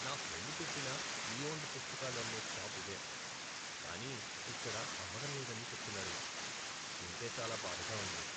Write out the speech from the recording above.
నా ఫ్రెండ్ చెప్పిన pre owned పుస్తకాలు అమ్మే షాప్ ఇదే, కానీ ఇక్కడ అమ్మడం లేదని చెబుతున్నారు. వింటే చాలా బాధగా ఉంది.